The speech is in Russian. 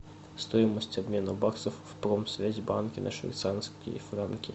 стоимость обмена баксов в промсвязьбанке на швейцарские франки